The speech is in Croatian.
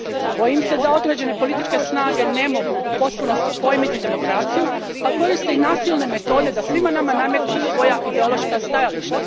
Bojim se da određene političke snage ne mogu u potpunosti pojmiti demokraciju pa koriste i nasilne metode da svima nama nametnu svoja ideološka stajališta.